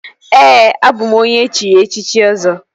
Ee, abụ m onye echiri echichi Ọzọ